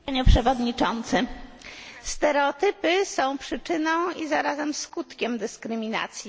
Szanowny Panie Przewodniczący! Stereotypy są przyczyną i zarazem skutkiem dyskryminacji.